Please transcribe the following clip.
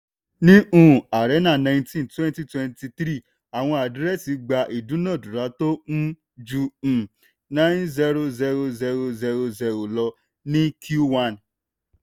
ní um arena nineteen twenty twenty three àwọn àdírẹ́sì gba ìdúnádúrà tó um ju um nine zero zero zero zero zero lọ ní q one.